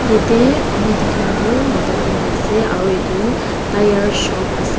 yete ami dekha toh mota deenta ase aro etu tyre shop ase.